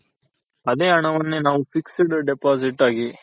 ಅದೆ ಹಣವನ್ನೇ ನಾವು Fixed Deposit ಆಗಿ